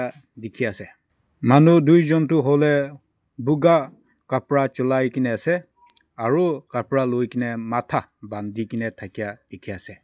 dikhiase manu duijon toh hoilae buka kapra chulaikae na ase aru kapra lokaena matha bandikae na thakeya dikhiase.